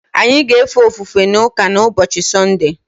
Anyị na-efe ofufe n’ụka n’ụbọchị Sọnde.